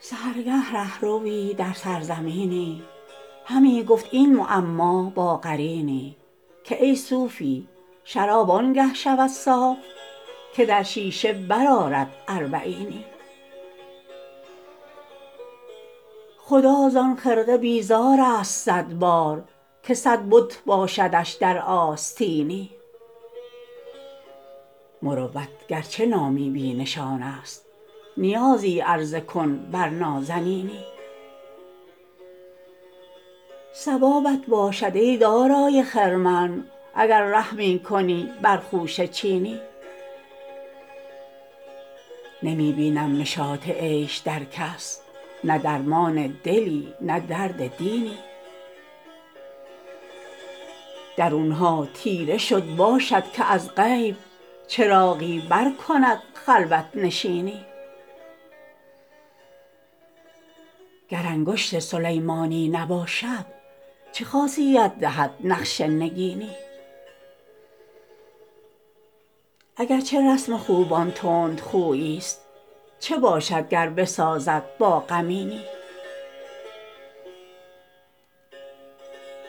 سحرگه ره ‎روی در سرزمینی همی گفت این معما با قرینی که ای صوفی شراب آن گه شود صاف که در شیشه برآرد اربعینی خدا زان خرقه بیزار است صد بار که صد بت باشدش در آستینی مروت گر چه نامی بی نشان است نیازی عرضه کن بر نازنینی ثوابت باشد ای دارای خرمن اگر رحمی کنی بر خوشه چینی نمی بینم نشاط عیش در کس نه درمان دلی نه درد دینی درون ها تیره شد باشد که از غیب چراغی برکند خلوت نشینی گر انگشت سلیمانی نباشد چه خاصیت دهد نقش نگینی اگر چه رسم خوبان تندخویی ست چه باشد گر بسازد با غمینی